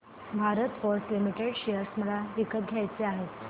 Bharat Forge Limited share मला विकत घ्यायचे आहेत